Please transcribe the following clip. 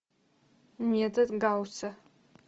метод гаусса